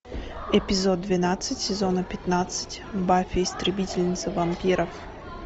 эпизод двенадцать сезона пятнадцать баффи истребительница вампиров